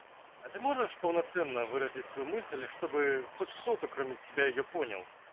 а ты можешь полноценно выразить свою мысль чтобы хоть кто-то кроме тебя её понял